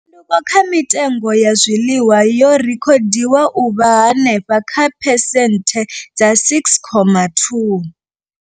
Tshanduko kha mitengo ya zwiḽiwa yo rekhodiwa u vha henefha kha phesenthe dza 6.2.